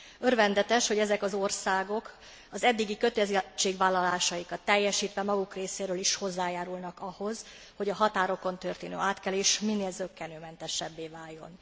Örvendetes, hogy ezek az országok az eddigi kötelezettségvállalásaikat teljesítve maguk részéről is hozzájárulnak ahhoz, hogy a határokon történő átkelés minél zökkenőmentesebbé váljon.